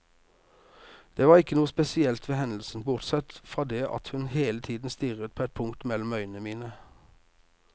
Det var ikke noe spesielt ved hendelsen, bortsett fra det at hun hele tiden stirret på et punkt mellom øynene mine.